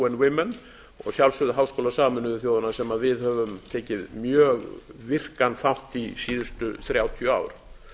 of women og að sjálfsögðu háskóla sameinuðu þjóðanna sem við höfum tekið mjög virkan þátt í síðustu þrjátíu ár